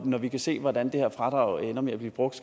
når vi kan se hvordan det her fradrag ender med at blive brugt